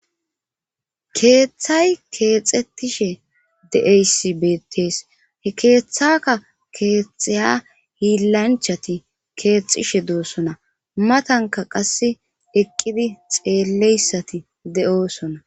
Keeththay keexetishe deeysi beetes he keeththaka keettxaya hiilanchati keexxishe doosona matanka qas eqqidi xeelleyssati de7osona.